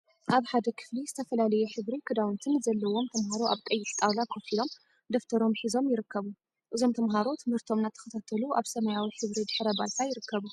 አብ ሓደ ክፍሊ ዝተፈላለየ ሕብሪ ክዳውንቲን ዘለዎም ተምሃሮ አብ ቀይሕ ጣውላ ኮፍ ኢሎም ደፍተሮም ሒዞም ይርከቡ። እዞም ተምሃሮ ትምህርቶም እናተከታተሉ አብ ሰማያዊ ሕብሪ ድሕረ ባይታ ይርከቡ።